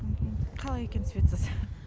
қалай екен светсыз